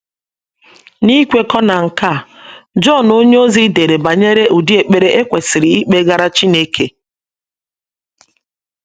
N’ikwekọ na nke a, Jọn onyeozi dere banyere ụdị ekpere e kwesịrị ikpegara Chineke.